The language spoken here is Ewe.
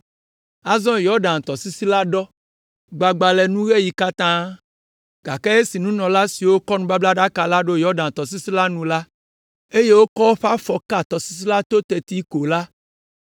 Azɔ Yɔdan tɔsisi la ɖɔ, gbagba le nuŋeɣi katã, gake esi nunɔla siwo kɔ nubablaɖaka la ɖo Yɔdan tɔsisi la nu, eye woƒe afɔ ka tɔsisi la to teti ko la,